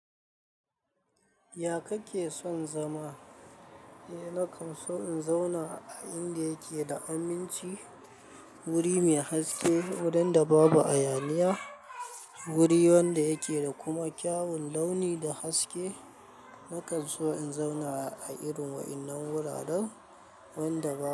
Ya kake son zama? Eh, nakan so in zauna a inda yake da aminci, wuri mai haske, wurin da babu hayaniya, wuri wanda yake da kuma kyawun launi da haske. Nakan so in zauna a irin waɗannan wuraren wanda ba.